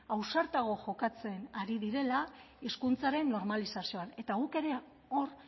ausartago jokatzen ari direla hizkuntzaren normalizazioan eta guk ere hor